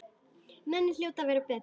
Menn hljóta að vita betur.